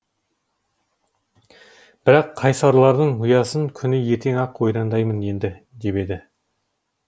бірақ қайсарлардың ұясын күні ертең ақ ойрандаймын енді деп еді